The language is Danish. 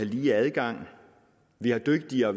lige adgang vi har dygtige og